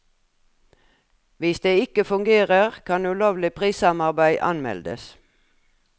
Hvis det ikke fungerer, kan ulovlig prissamarbeid anmeldes.